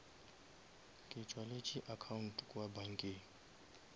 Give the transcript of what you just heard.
ke tswaletše account kua bankeng